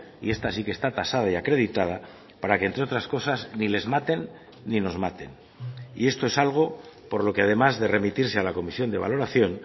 y está sí que está tasada y acreditada para que entre otras cosas ni les maten ni nos maten y esto es algo por lo que además de remitirse al a comisión de valoración